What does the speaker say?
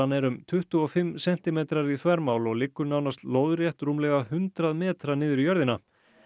er um tuttugu og fimm sentimetrar í þvermál og liggur nánast lóðrétt rúmlega hundrað metra niður í jörðina